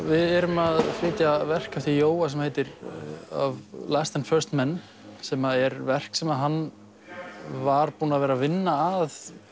við erum að flytja verk eftir Jóa sem heitir last and men sem er verk sem hann var búinn að vera vinna að